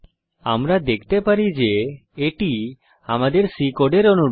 আমরা দেখতে পারি যে এটি আমাদের C কোডের অনুরূপ